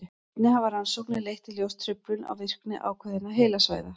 einnig hafa rannsóknir leitt í ljós truflun á virkni ákveðinna heilasvæða